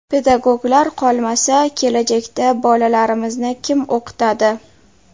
Pedagoglar qolmasa, kelajakda bolalarimizni kim o‘qitadi?